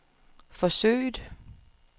forsøget